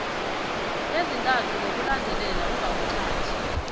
ezintathu ngokulandelana ungawuthathi